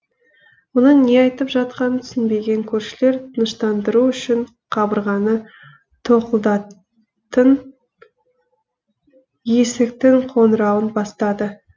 мұның не айтып жатқанын түсінбеген көршілер тыныштандыру үшін қабырғаны тоқылдатын есіктің қоңырауын бастады